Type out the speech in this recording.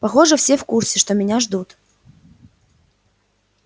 похоже все в курсе что меня ждут